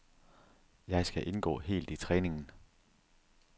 Jeg skal indgå helt i træningen.